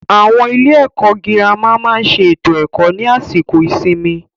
Àwọn ilé ẹ̀kọ́ gírámà máà ń ṣe ètò ẹ̀kó ní àsìkò ìsinmi.